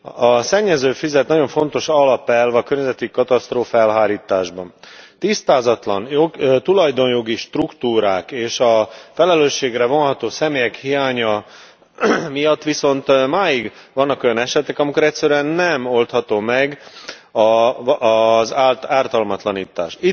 A szennyező fizet nagyon fontos alapelv a környezeti katasztrófák elhárításában. Tisztázatlan tulajdonjogi struktúrák és a felelősségre vonható személyek hiánya miatt viszont máig vannak olyan esetek, amikor egyszerűen nem oldható meg az ártalmatlanítás.